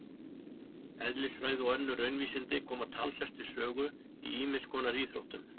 Eðlisfræði og önnur raunvísindi koma talsvert við sögu í ýmiss konar íþróttum.